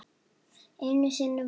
Einu sinni var.